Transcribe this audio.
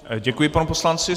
Děkuji panu poslanci.